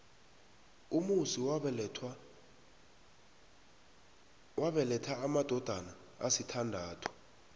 umusi wabeletha amadodana asithandathu